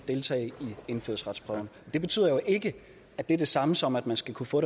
deltage i indfødsretsprøven det betyder jo ikke at det er det samme som at man skal kunne få